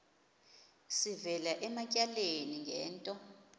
sivela ematyaleni ngento